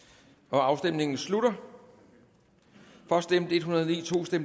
afstemningen slutter for stemte en hundrede og ni